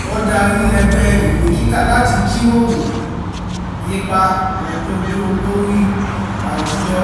ó darí ẹgbẹ́ ìwé kíkà láti jíròrò ipa òdodo lórí àwùjọ